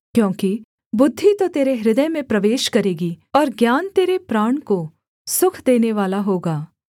क्योंकि बुद्धि तो तेरे हृदय में प्रवेश करेगी और ज्ञान तेरे प्राण को सुख देनेवाला होगा